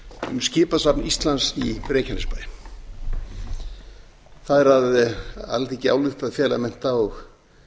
um skipasafn íslands í reykjanesbæ það er alþingi álykti að fela mennta og